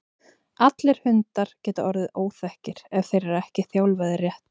allir hundar geta orðið óþekkir ef þeir eru ekki þjálfaðir rétt